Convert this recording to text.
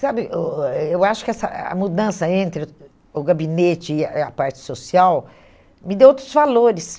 Sabe, eu acho que essa a mudança entre o gabinete e a e a parte social me deu outros valores.